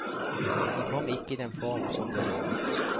Den kom ikke i den form som ble lovet.